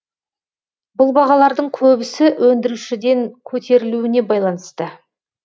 бұл бағалардың көбісі өндірушіден көтерілуіне байланысты